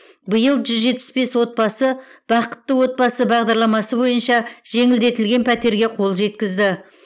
биыл жүз жетпіс бес отбасы бақытты отбасы бағдарламасы бойынша жеңілдетілген пәтерге қол жеткізді